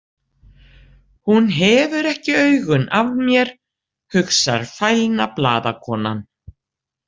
Hún hefur ekki augun af mér, hugsar fælna blaðakonan.